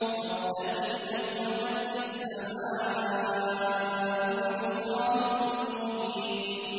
فَارْتَقِبْ يَوْمَ تَأْتِي السَّمَاءُ بِدُخَانٍ مُّبِينٍ